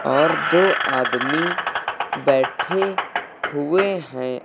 और दो आदमी बैठे हुए हैं।